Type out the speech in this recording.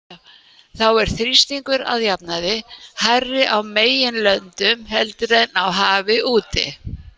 Þá er þrýstingur að jafnaði hærri á meginlöndum heldur en á hafi úti.